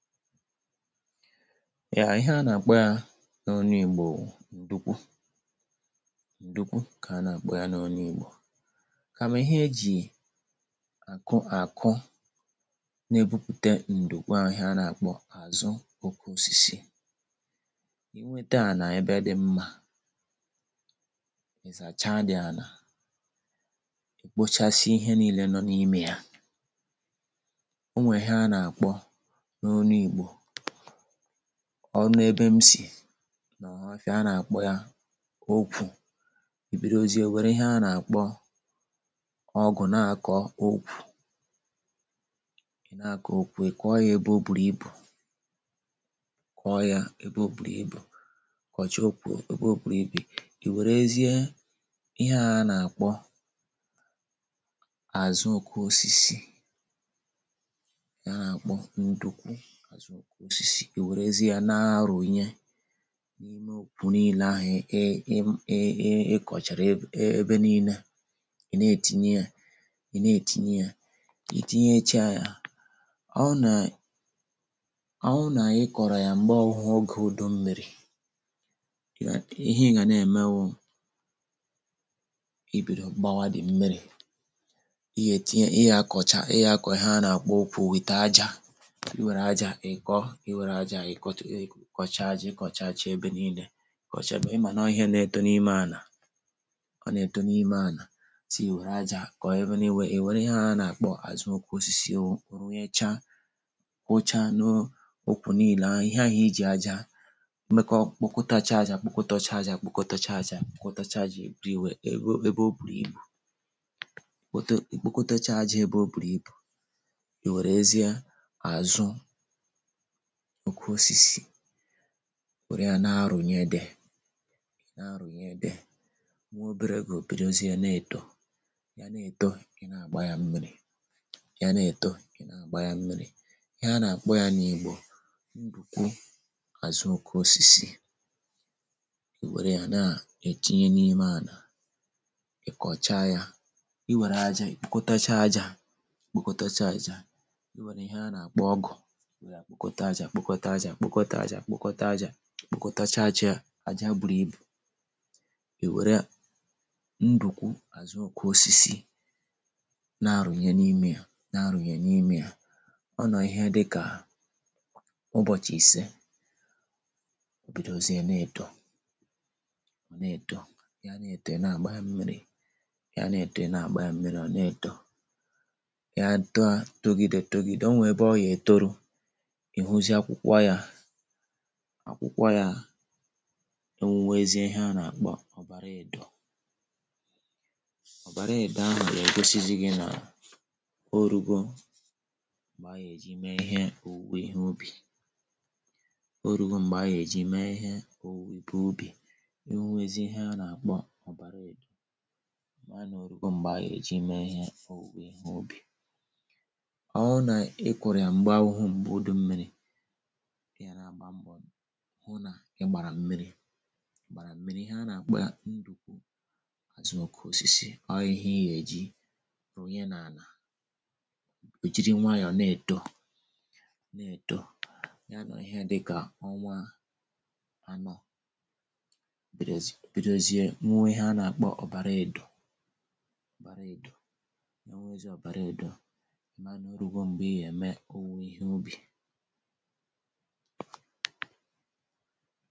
Ya, ihe a na-akpọ ya n’ọnụ igbọ Ndụkwụ. Ndụkwụ ka a na-akpọ ya n’ọnụ igbọ kama ihe e ji akụ akụ na-ebụpụte ndụkwụ a ahịa a na-akpọ azụ ọke ọsisi. I nweta ana ebe dị mma izacha the ana, i kpọchasị ihe niile nọ n’ime ya. Ọnwe ihe ana akpọ n'ọnụ Igbọ ọbụ n’ebe m si na ọhọfịa a na-akpọ ya ọkwụ ibidọzie were ihe a na-akpọ ọgụ na-akọ ọkwụ i na-akọ ọkwụ i kọọ ya ebe ọ bụrụ ibụ kọọ ya ebe ọ bụrụ ibụ kọchie ọkwụ, ebe ọ bụrụ ibụ. I werezie ihea a na-akpọ azụ ọke ọsisi our a na akpọ Ndụkwụ azụ ọke ọsisi e werezi ya na-arụnye n’ime ọkwụ niile ahụ̀ e e e ịkọchara e e ebe niile, i na-etinye ya, ị na-etinye ya, ị tinyecha ya. Ọ na, ọwụ na-ikọ̀rọ̀ ya m̀gbe ọwụ̇hụ̇ ọge ụdụ mmi̇ri ihe ị ga na-eme wụ ibìdo gbawa the mmi̇ri. Iye tinye, iya akọcha, iya akọ̀ọ ihe a na-akpọ ọkwụ with aja i were aja ikọọ, i were aja ikọọ, i kọchaa aja ị kọchaa chọ ebe niile, ị manọ ihe na-etọ n’ime ana ọ na-etọ n’ime ana sii were aja kọ̀ọ ebe n’iwe i were ihe a na-akpọ azụ ọke ọsisi wu runyecha wụcha na ọkwụ niile ahụ̀ ihe ahụ̀ i jì aja mekọọ kpọkọta cha aja kpọkọta cha aja kpọkọta cha aja kpọkọta cha aja everywhere ebe ebe ọ bụrụ ibụ kpọte ikpọkọta cha aja ebe ọ bụrụ ibụ i werezie azụ ọkwụ ọsisi were ya na-arụnye there na-arụnye there nwa ọbere ọge ọbịdozie na-etọ, ya na-etọ ina agba ya mmi̇ri ya na-etọ ina agba ya mmi̇ri. Ihe a na-akpọ ya n’igbọ mbụkwụ azụ ọkwụ ọsisi. I were ya na-etinye n’ime ana i kọcha ya i were aja i ikpọkọta cha aja ikpọkọta cha aja i were ihe a na-akpọ ọgụ were ya kpọkọta aja kpọkọta aja kpọkọta aja kpọkọta cha aja, aja bụrụ ibụ. I were ya, ndụkwụ azụ ọke ọsisi na-arụnye n’ime ya na-arụnye n’ime ya ọ nọọ ihe dịka ụbọchị ise ọbidọzie na-etọ, ọ na-etọ, ya na-etọ ina agba ya mmiri, ya na-etọ ina agba ya mmiri ọ na-etọ ya tọọ tọgide tọgide ọ nwe ebe ọ ya etọrụ, ihuzie akwụkwa ya akwụkwọ ya enwụwezi ihe a na-akpọ ọ̀bara edọ ọ̀bara edọ ahụ̀ ga-egọsizi gi na ọ rụgọ mgbe a ya eji mee ihe ọ̀wụwe ihe ụbì ọ rụgọ m̀gbe a ya-eji mee ihe ọ̀wụwe ihe ụbì enwụwezi ihe a na-akpọ ọ̀bara edọ maa na ọ̀rụgọ m̀gbe a ya-eji mee ihe ọ̀wụwe ihe ụbì ọwụ̇ na ị kụrụ ya m̀gbe awụghụ m̀gbe ụdụ mmi̇ri̇ iya na-agba mbọ hụ na i gbara mmiri i gbara mmiri. ihe a na-akpo ya ndụkwụ azụ ọke ọsisi. Ó ihe iya eji rụnye n’ala ọ̀jiri nwayọ̀ na-etọ na-etọ ya nọọ ihe dịka ọnwa anọ bìrìọ zi.. bìdọzie nwụwe ihe a na-akpọ ọ̀bara edọ̀ ọ̀bara edọ̀ ọnwụnwezie ọ̀bara edọ̀, i mana ọrụgȯ m̀gbe ị ya eme ọwụ ihe ụbì.